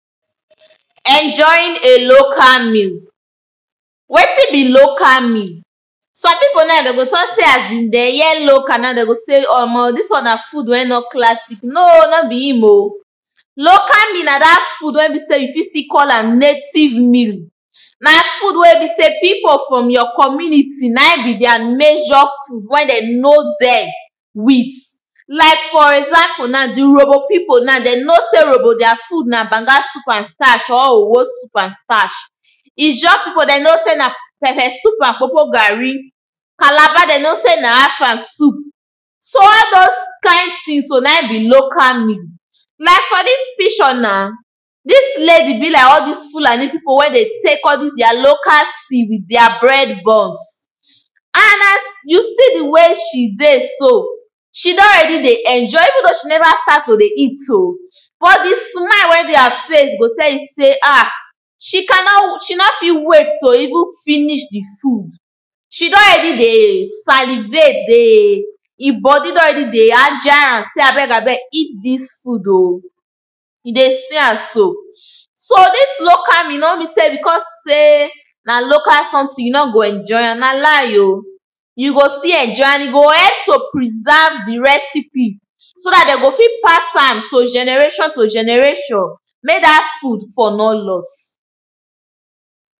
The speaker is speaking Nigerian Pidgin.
Enjoying a local meal. Wetin be local meal Some pipo na dem go talk sey as dem hear local now dem go talk sey omo this one na food wey no classic, no be im oh. Local meal na dat food wey be sey you fit still call am native meal Na food wey be sey pipo from your community na be their major food wey be sey dem know dem with. Like for example di Urhobo pipo na dem know sey Urhobo their food na banga soup and starch or owho soup and starch Ijaw pipo dem know sey na pepper soup and kpokpo garri Calabar dem know sey na afang soup. So all those kind thing so na be local meal Like for dis picture na, dis lady be like all dis fulani pipo wey dey take all dis their local tea with their bread buns and as you see di way she dey so she don ready dey enjoy even though she never start to dey eat oh but di smile wey dey her face go tell you sey ah she no fit wait to even finish di food she don ready dey salivate dey im body don ready dey agile am sey abeg abeg eat dis food oh you dey see am so. So dis local meal no means sey becos sey na local something you no go enjoy am, na lie oh you go still enjoy am and e go help to preserve di recipe so dat dem go fit pass am to generation to generation make dat food for no loss.